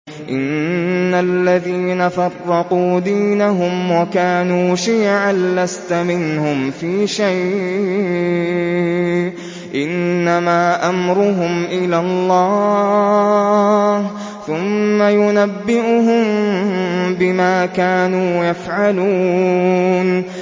إِنَّ الَّذِينَ فَرَّقُوا دِينَهُمْ وَكَانُوا شِيَعًا لَّسْتَ مِنْهُمْ فِي شَيْءٍ ۚ إِنَّمَا أَمْرُهُمْ إِلَى اللَّهِ ثُمَّ يُنَبِّئُهُم بِمَا كَانُوا يَفْعَلُونَ